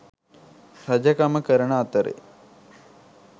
රජකම කරන අතරේ